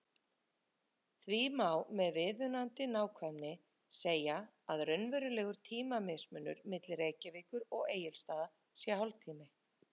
Því má með viðunandi nákvæmni segja að raunverulegur tímamismunur milli Reykjavíkur og Egilsstaða sé hálftími.